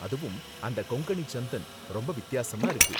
அதுவும் அந்த கொங்கணி சந்தன் ரொம்ப வித்தியாசமா இருக்கு.